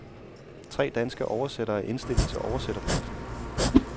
Tre danske oversættere er indstillet til oversætterprisen.